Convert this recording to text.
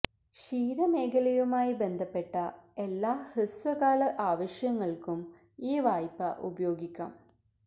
ക്ഷീര മേഖലയുമായി ബന്ധപ്പെട്ട എല്ലാ ഹൃസ്വകാല ആവശ്യങ്ങൾക്കും ഈ വായ്പ ഉപയോഗിക്കാം